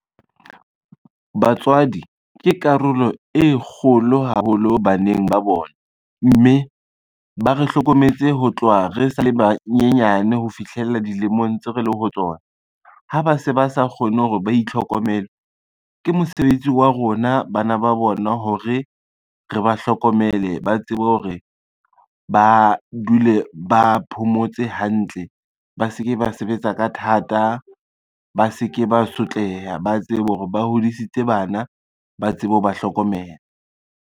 Batswadi ke karolo e kgolo haholo baneng ba bona, mme ba re hlokometse ho tloha re sa le banyenyane ho fihlela dilemong tseo re leng ho tsona. Ha ba se ba sa kgone hore ba itlhokomele, ke mosebetsi wa rona bana ba bona hore re ba hlokomele, ba tsebe hore ba dule ba phomotse hantle, ba se ke ba sebetsa ka thata, ba se ke ba sotleha, ba tsebe hore ba hodisitse bana ba tsebe ho ba hlokomela.